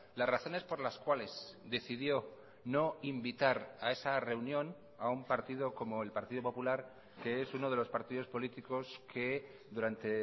las razones por las cuales decidió no invitar a esa reunión a un partido como el partido popular que es uno de los partidos políticos que durante